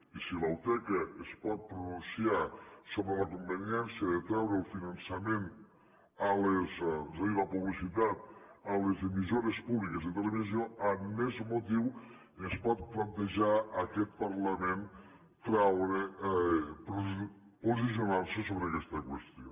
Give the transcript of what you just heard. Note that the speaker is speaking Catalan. i si la uteca es pot pronunciar sobre la conveniència de treure el finançament és a dir la publicitat a les emissores públiques de televisió amb més motiu es pot plantejar aquest parlament posicionar se sobre aquesta qüestió